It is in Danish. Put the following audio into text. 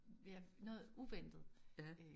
Ved at noget uventet